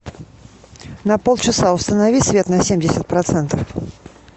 на полчаса установи свет на семьдесят процентов